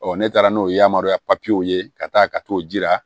ne taara n'o ye yamaruya ye ka taa ka t'o jira